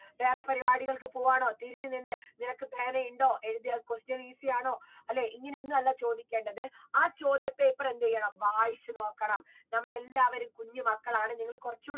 വേറെ പരിപാടികൾക്ക് പോവു ആണോ തിരിഞ്ഞു നിന്ന് നിനക്ക് പേന ഇണ്ടോ എഴുതിയാൽ question easy ആണോ അല്ലേ ഇങ്ങനെയൊന്നുമല്ല ചോദിക്കേണ്ടത് ആ ചോദ്യ paper എന്ത് ചെയ്യണം വായിച്ചു നോക്കണം നമ്മളെല്ലാവരും കുഞ്ഞുമക്കളാണ് നിങ്ങൾ കൊറച്ചൂടെ